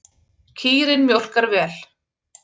Kýrin mjólkar vel.